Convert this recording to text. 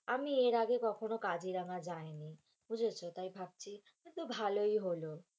আমি এর আগে কখনো কাজিরাঙা যাই নি বুঝেছো, তাই ভাবছি এতো ভালোই হলো,